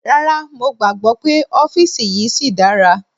Rárá, mo gbàgbọ́ pé ọ́fìsì yìí síi dára.